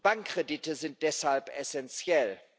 Bankkredite sind deshalb essentiell.